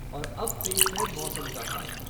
और अब पेश है मौसम का हाल